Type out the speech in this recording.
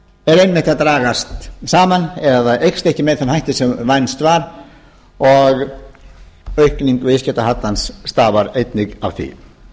er einmitt að dragast saman eða eykst ekki með þeim hætti sem vænst var og aukning viðskiptahallans stafar einnig af því